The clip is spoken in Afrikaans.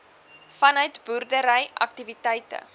vanuit boerdery aktiwiteite